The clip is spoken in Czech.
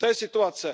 To je situace.